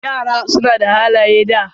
Yara suna da halaye da.